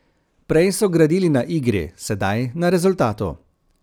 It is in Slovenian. Prej so gradili na igri, sedaj na rezultatu.